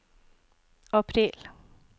april